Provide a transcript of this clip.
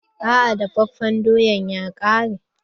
Aa dafafen doyan ya ƙare.